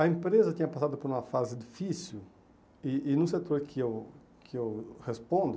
A empresa tinha passado por uma fase difícil e e no setor que eu que eu respondo,